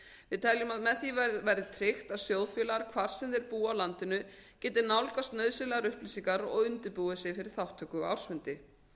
við teljum að með því verði tryggt að sjóðfélagar hvar sem þeir búa á landinu geti nálgast nauðsynlegar upplýsingar og undirbúið sig fyrir þátttöku á ársfundi